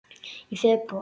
Í febrúar